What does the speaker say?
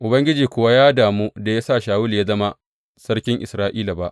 Ubangiji kuwa ya damu da ya sa Shawulu ya zama Sarkin Isra’ila ba.